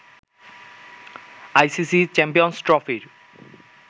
ICC champions ট্রফির